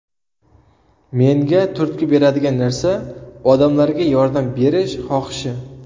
Menga turtki beradigan narsa – odamlarga yordam berish xohishi.